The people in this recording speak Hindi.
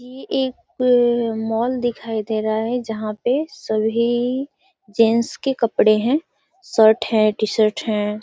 ये एक मॉल दिखाई दे रहा है जहां पे सभी जेंट्स के कपड़ें हैं। शर्ट है। टी-शर्ट है।